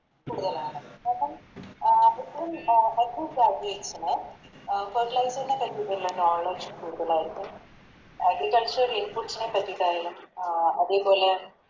കൂടുതലാണ് അപ്പൊ Fertilizer നെ പറ്റിട്ടുള്ളെ Knowledge കൂടുതലായിരിക്കും Agriculture inputs നെ പറ്റിട്ടായാലും അഹ് അതേപോലെ